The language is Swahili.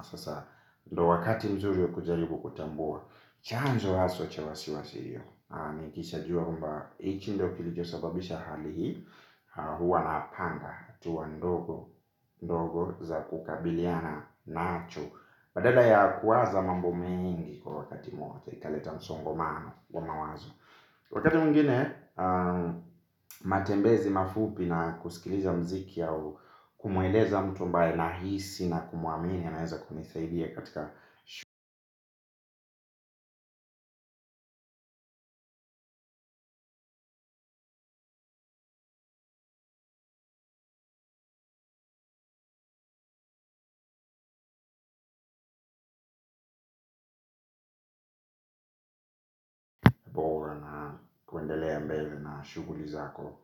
sasa ndio wakati mzuri kujaribu kutambua chanzo haswa cha wasiwasi huo. Nikisha jua kwamba hichi ndio kilicho sababisha hali hii. Huwa napanga hatua ndogo za kukabiliana nacho. Badala ya kuwaza mambo mengi kwa wakati mmoja. Italeta msongamano wa mawazo. Wakati mwngine matembezi mafupi na kusikiliza mziki kumueleza mtu ambaye nahisi na kumuamini yanaeza kunisaidia katika shughuli na kuendelea mbele na shughuli zako.